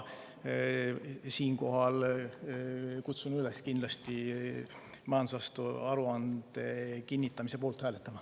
Kutsun üles kindlasti majandusaasta aruande kinnitamise poolt hääletama.